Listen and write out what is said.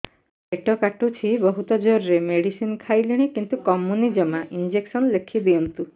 ପେଟ କାଟୁଛି ବହୁତ ଜୋରରେ ମେଡିସିନ ଖାଇଲିଣି କିନ୍ତୁ କମୁନି ଜମା ଇଂଜେକସନ ଲେଖିଦିଅନ୍ତୁ